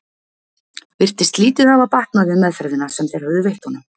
Virtist lítið hafa batnað við meðferðina sem þeir höfðu veitt honum.